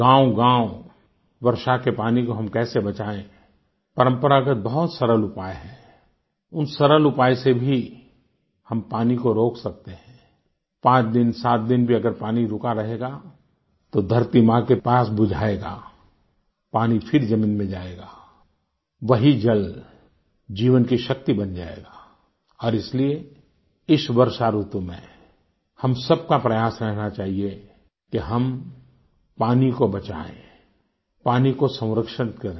गाँवगाँव वर्षा के पानी को हम कैसे बचाएँ परंपरागत बहुत सरल उपाय हैं उन सरल उपाय से भी हम पानी को रोक सकते हैं आई पाँच दिन सात दिन भी अगर पानी रुका रहेगा तो धरती माँ की प्यास बुझाएगा पानी फिर जमीन में जायेगा वही जल जीवन की शक्ति बन जायेगा और इसलिए इस वर्षा ऋतु में हम सब का प्रयास रहना चाहिए कि हम पानी को बचाएँ पानी को संरक्षित करें